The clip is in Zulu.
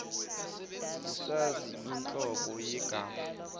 usazi inhlobo yegama